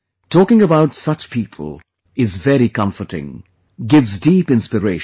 Talking about such people is very comforting; gives deep inspiration